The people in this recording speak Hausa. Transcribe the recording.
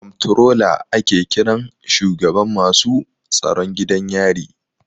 Komptrola ake kiran shugaban masu tsaron gidan yari.